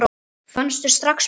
Fannstu strax mun?